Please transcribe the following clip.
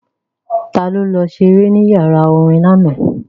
Ta ló lọ ṣeré ní yàrá orin lánàá?